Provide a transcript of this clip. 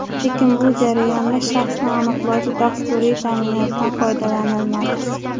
Lekin bu jarayonda shaxsni aniqlovchi dasturiy ta’minotdan foydalanilmadi.